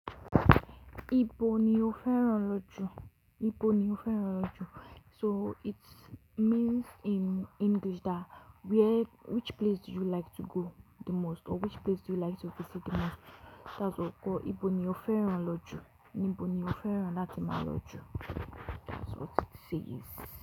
Ibo ni o fẹ́ràn lọ jù? Ibo ni o fẹ́ràn lọ jù? So it means in English that where-- which place do you like to go the most or which place do you like to visit the most? That's ok. Ibo ni o fẹ́ràn lọ jù? Nibo ni o fẹ́ràn lati ma lọ jù? That's what it says.